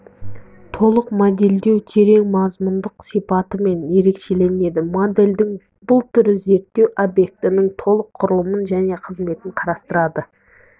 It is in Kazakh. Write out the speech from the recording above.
толық модельдеу терең мазмұндық сипатымен ерекшеленеді модельдің бұл түрі зерттеу объектіінің толық құрылымын және қызметін қарастырады